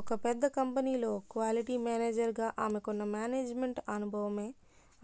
ఒక పెద్ద కంపెనీలో క్వాలిటీ మేనేజర్ గా ఆమెకున్న మేనేజ్ మెంట్ అనుభవమే